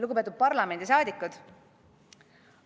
Lugupeetud parlamendiliikmed!